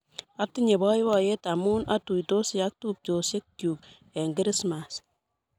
Atinye poipoet amun atuitosi ak tupchosyek chuk eng' Krismas